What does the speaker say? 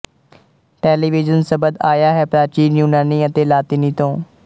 television ਸ਼ਬਦ ਆਇਆ ਹੈ ਪ੍ਰਾਚੀਨ ਯੂਨਾਨੀ ਅਤੇ ਲਾਤੀਨੀ ਤੋਂ